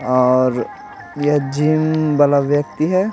और यह जिम वाला व्यक्ति है।